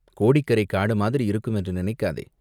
கோடிக்கரைக் காடு மாதிரி இருக்கும் என்று நினைக்காதே.